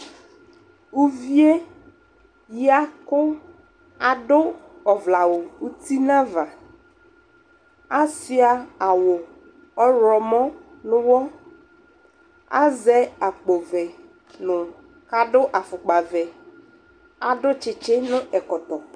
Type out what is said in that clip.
ʋviɛ yakʋ adʋ ɔvlɛ awʋ ʋti nʋ aɣa, asʋa awʋ ɔwlɔmɔ nʋ ʋwɔ, azɛ akpɔ vɛ kʋ adʋ aƒʋkpa vɛ, adʋ kyikyi nʋ ɛkɔtɔ